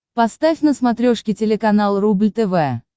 поставь на смотрешке телеканал рубль тв